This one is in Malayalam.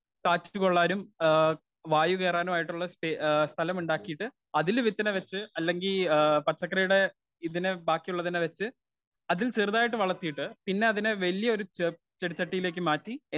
സ്പീക്കർ 1 കാറ്റുകൊള്ളാനും ആ വായുകേറാനുമായിട്ടുള്ള ഏ സ്ഥലമുണ്ടാക്കിട്ട് അതില് വിത്തിനെ വെച്ച് അല്ലങ്കിൽ പച്ചക്കറിയുടെ ഇതിനെ ബാക്കിയുള്ളതിനെവെച്ച് അതിൽ ചെറുതായിട്ട് വളത്തിയിട്ടു പിന്നെ അതിനെ വലിയൊരു ചെടിച്ചട്ടിയിലേക്ക് മാറ്റി